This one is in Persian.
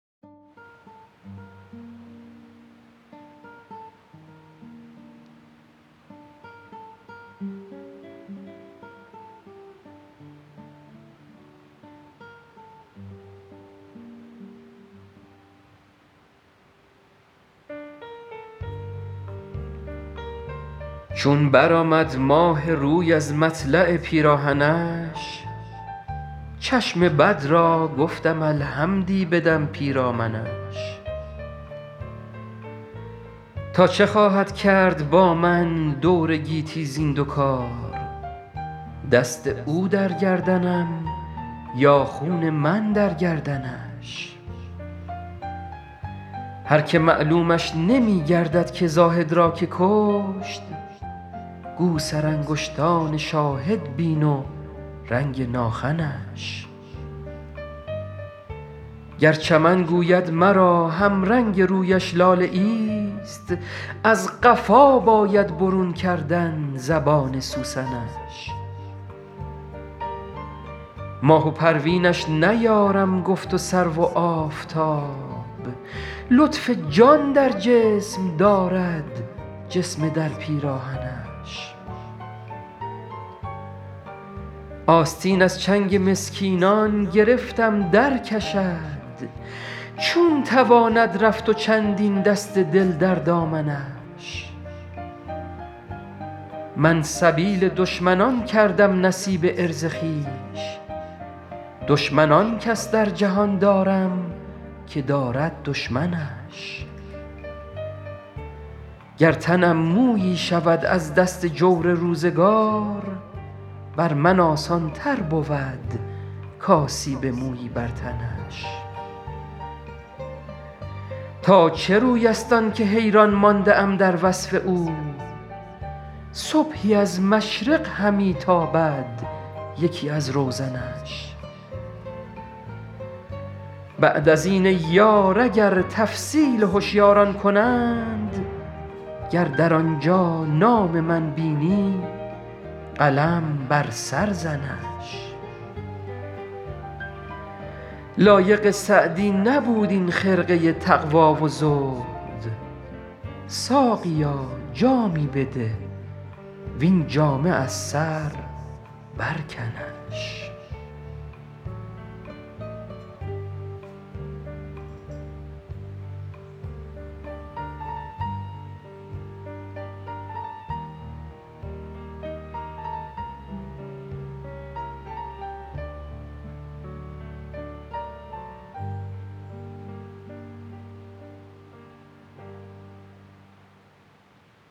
چون برآمد ماه روی از مطلع پیراهنش چشم بد را گفتم الحمدی بدم پیرامنش تا چه خواهد کرد با من دور گیتی زین دو کار دست او در گردنم یا خون من در گردنش هر که معلومش نمی گردد که زاهد را که کشت گو سرانگشتان شاهد بین و رنگ ناخنش گر چمن گوید مرا همرنگ رویش لاله ایست از قفا باید برون کردن زبان سوسنش ماه و پروینش نیارم گفت و سرو و آفتاب لطف جان در جسم دارد جسم در پیراهنش آستین از چنگ مسکینان گرفتم درکشد چون تواند رفت و چندین دست دل در دامنش من سبیل دشمنان کردم نصیب عرض خویش دشمن آن کس در جهان دارم که دارد دشمنش گر تنم مویی شود از دست جور روزگار بر من آسان تر بود کآسیب مویی بر تنش تا چه روی است آن که حیران مانده ام در وصف او صبحی از مشرق همی تابد یکی از روزنش بعد از این ای یار اگر تفصیل هشیاران کنند گر در آنجا نام من بینی قلم بر سر زنش لایق سعدی نبود این خرقه تقوا و زهد ساقیا جامی بده وین جامه از سر برکنش